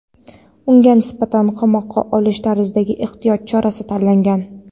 unga nisbatan "qamoqqa olish" tarzidagi ehtiyot chorasi tanlangan.